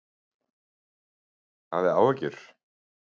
Hafið þið áhyggjur?